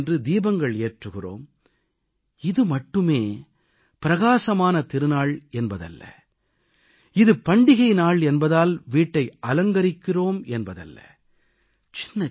நாம் தீபாவளியன்று தீபங்கள் ஏற்றுகிறோம் இது மட்டுமே பிரகாசமான திருநாள் என்பதல்ல இது பண்டிகை நாள் என்பதால் வீட்டை அலங்கரிக்கிறோம் என்பதல்ல